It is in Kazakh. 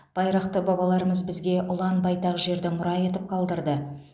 байрақты бабаларымыз бізге ұлан байтақ жерді мұра етіп қалдырды